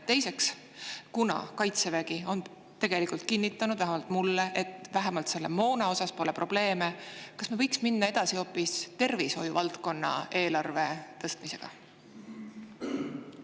Teiseks, kuna Kaitsevägi on kinnitanud, vähemalt mulle, et moonaga pole probleeme, kas me ei võiks siis minna edasi hoopis tervishoiu valdkonna eelarve?